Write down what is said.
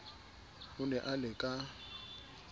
o ne a le ka